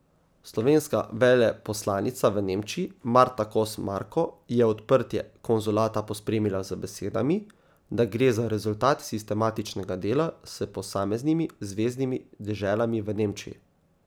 Slovenska veleposlanica v Nemčiji Marta Kos Marko je odprtje konzulata pospremila z besedami, da gre za rezultat sistematičnega dela s posameznimi zveznimi deželami v Nemčiji.